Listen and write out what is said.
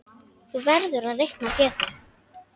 Þú verður að reikna Pétur.